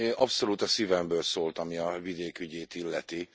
Abszolút a szívemből szólt, ami a vidék ügyét illeti.